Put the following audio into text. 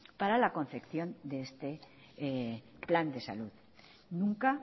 para la concepción de este plan de salud nunca